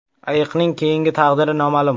Ayiqning keyingi taqdiri noma’lum.